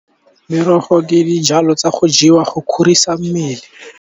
Merogo ke dijalo tsa go jewa go kgorisa mmele.